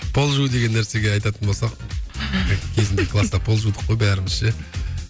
пол жуу деген нәрсеге айтатын болсақ кезінде класта пол жудық қой бәріміз ше